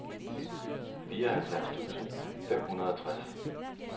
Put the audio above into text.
fireoghalvfjerds tusind fem hundrede og tres